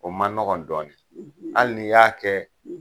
O ma nɔgɔn dɔɔnin hali n'i y'a kɛ